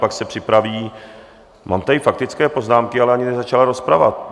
Pak se připraví - mám tady faktické poznámky, ale ani nezačala rozprava.